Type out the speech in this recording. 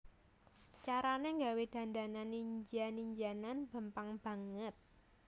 Carane gawé dandanan ninja ninjanan gampang banget